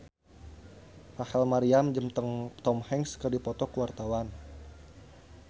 Rachel Maryam jeung Tom Hanks keur dipoto ku wartawan